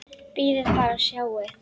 Bíðið bara og sjáið!